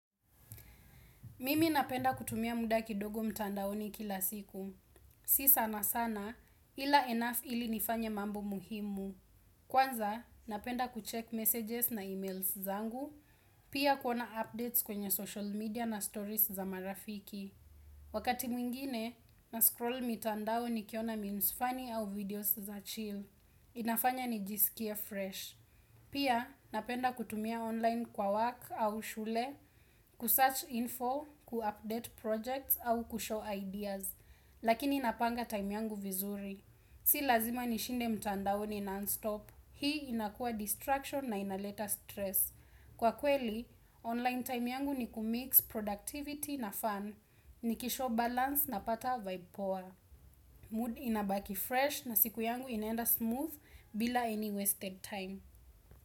Mimi napenda kutumia muda kidogo mtandaoni kila siku. Si sana sana, ila enough ili nifanye mambo muhimu. Kwanza, napenda kucheck messages na emails zangu, pia kuona updates kwenye social media na stories za marafiki. Wakati mwingine, nascroll mitandao nikiona memes funny au videos za chill. Inafanya nijisikie fresh. Pia, napenda kutumia online kwa work au shule, kusearch info, kuupdate projects au kushow ideas. Lakini inapanga time yangu vizuri. Si lazima nishinde mtandaoni non-stop. Hii inakua distraction na inaleta stress. Kwa kweli, online time yangu ni kumix productivity na fun. Nikishow balance na pata vibe poa. Mood inabaki fresh na siku yangu inenda smooth bila any wasted time.